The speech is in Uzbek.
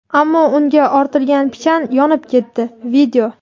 ammo unga ortilgan pichan yonib ketdi.